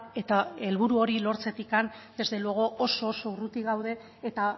eta helburu hori lortzetik desde luego oso oso urruti gaude eta